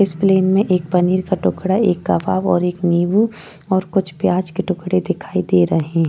इस प्लेन में एक पनीर का टुकड़ा एक कबाब और एक निबू और कुछ प्याज के टुकड़े दिखा दे रहे --